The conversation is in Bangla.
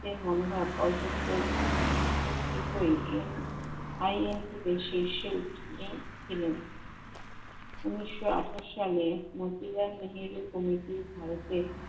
এ মনোভাব অল্প ক্ষেত্রেই IMC তে শীর্ষে উচ্চতায় ছিলেন। উনিশশো আঠাশ সালে মন্ত্রীরা মিলিত comittee ভারতে